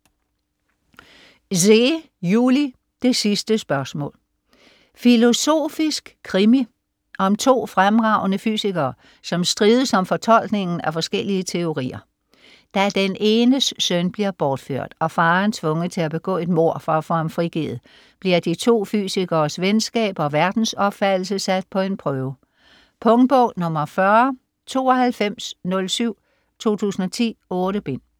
Zeh, Juli: Det sidste spørgsmål Filosofisk krimi om to fremragende fysikere, som strides om fortolkningen af forskellige teorier. Da den enes søn bliver bortført, og faderen tvunget til at begå et mord for at få ham frigivet, bliver de to fysikeres venskab og verdensopfattelse sat på en prøve. Punktbog 409207 2010. 8 bind.